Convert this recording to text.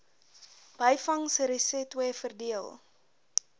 byvangs resetwe verdeel